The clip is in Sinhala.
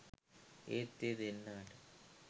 ඒත් ඒ දෙන්නාට